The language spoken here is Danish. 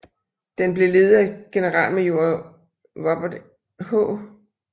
Den blev ledet af generalmajor Robert H